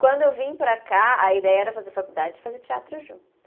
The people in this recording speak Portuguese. Quando eu vim para cá, a ideia era fazer faculdade e fazer teatro junto.